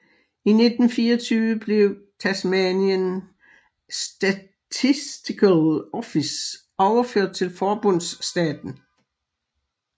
I 1924 blev Tasmanian Statistical Office overført til forbundsstaten